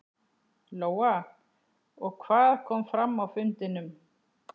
Lóa: Og hvað kom fram á fundinum?